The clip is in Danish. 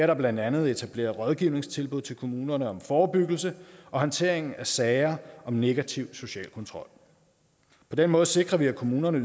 der blandt andet etableret rådgivningstilbud til kommunerne om forebyggelse og håndtering af sager om negativ social kontrol på den måde sikrer vi at kommunerne